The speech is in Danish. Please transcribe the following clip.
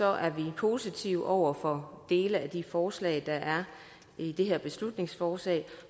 er vi positive over for dele af de forslag der er i det her beslutningsforslag vi